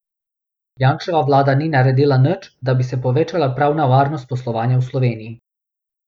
Janševa vlada ni naredila nič, da bi se povečala pravna varnost poslovanja v Sloveniji.